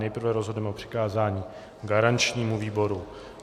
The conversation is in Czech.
Nejprve rozhodneme o přikázání garančnímu výboru.